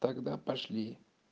тогда пошли